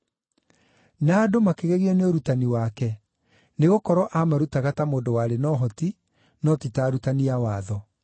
Na andũ makĩgegio nĩ ũrutani wake, nĩgũkorwo aamarutaga ta mũndũ warĩ na ũhoti, no ti ta arutani a watho.